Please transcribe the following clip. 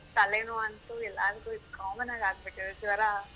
ತಲೆನೋವು ಅಂತು ಎಲ್ಲಾರಿಗು ಇದು common ಆಗ್ಬಿಟ್ಟಿದೆ ಜ್ವರ.